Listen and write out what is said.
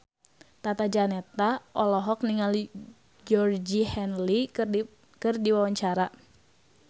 Tata Janeta olohok ningali Georgie Henley keur diwawancara